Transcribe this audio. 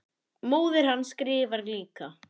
Móðir hans skrifar líka.